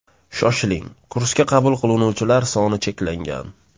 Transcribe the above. Shoshiling, kursga qabul qilinuvchilar soni cheklangan!